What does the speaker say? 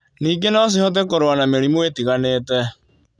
Ningĩ no cihote kũrũa na mĩrimũ ĩtiganĩte.